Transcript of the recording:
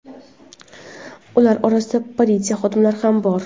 Ularning orasida politsiya xodimlari ham bor.